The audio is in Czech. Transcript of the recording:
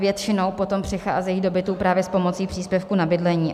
Většinou potom přicházejí do bytu právě s pomocí příspěvku na bydlení.